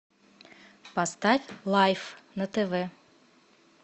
поставь лайф на тв